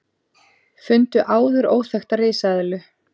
Fundu áður óþekkta risaeðlu